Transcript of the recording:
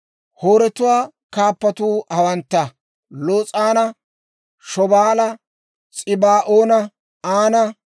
Hooretuwaa kaappatuu hawantta; Los'aana, Shobaala, S'ibaa'oona, Aana,